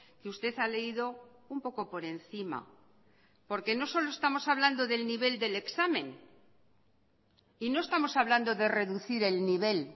que usted ha leído un poco por encima porque no solo estamos hablando del nivel del examen y no estamos hablando de reducir el nivel